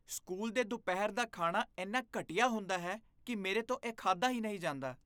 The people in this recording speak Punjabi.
ਸਕੂਲ ਦੇ ਦੁਪਹਿਰ ਦਾ ਖਾਣਾ ਇੰਨਾ ਘਟੀਆ ਹੁੰਦਾ ਹੈ ਕਿ ਮੇਰੇ ਤੋਂ ਇਹ ਖਾਧਾ ਹੀ ਨਹੀਂ ਜਾਂਦਾ।